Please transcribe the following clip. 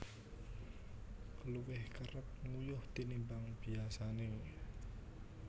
Luwih kerep nguyuh tinimbang biyasané